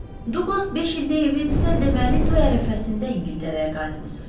Douglas beş ildir evlidirsə, deməli toy ərəfəsində İngiltərəyə qayıtmısınız.